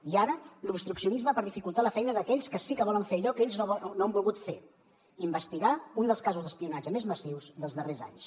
i ara l’obstruccionisme per dificultar la feina d’aquells que sí que volen fer allò que ells no han volgut fer investigar un dels casos d’espionatge més massius dels darrers anys